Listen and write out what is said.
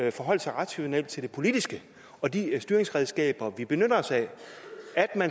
at forholde sig rationelt til det politiske og de styringsredskaber vi benytter os af